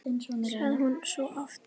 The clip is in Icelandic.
sagði hún svo oft.